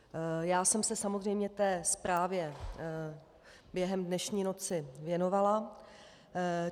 Já jsem se samozřejmě té zprávě během dnešní noci věnovala.